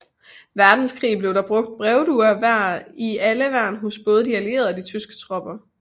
Verdenskrig blev der brugt brevduer i alle værn hos både de allierede og de tyske tropper